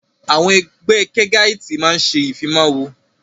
Àwọn Ẹgbẹ́ kẹgáitì máa ń ṣe ìfimawo